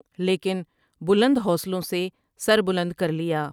لیکن بلند حوصلوں سے سر بلند کر لیا ۔